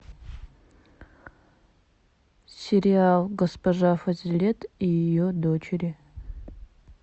сериал госпожа фазилет и ее дочери